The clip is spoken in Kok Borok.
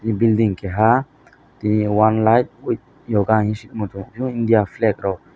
building keha tini one life with yoga hing sima tango india flake rok.